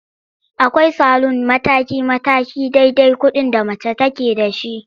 Akwai salun mataki-mataki dai-dai kuɗin da mace take da shi.